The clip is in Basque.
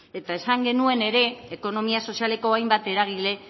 esan genuen ere ekonomia sozialeko hainbat eragile